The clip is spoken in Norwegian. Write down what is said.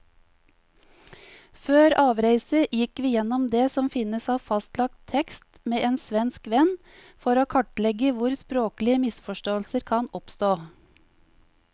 Før avreise gikk vi gjennom det som finnes av fastlagt tekst med en svensk venn, for å kartlegge hvor språklige misforståelser kan oppstå.